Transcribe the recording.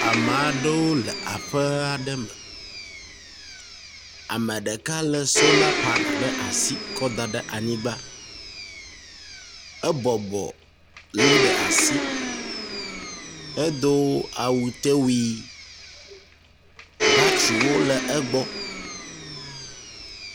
Ame aɖewo le aƒe aɖe me, ame ɖeka lé sona pana ɖe asi kɔ da ɖe anyigba, ebɔbɔ li ɖe asi, edo awutewui. Batteriwo le egbɔ.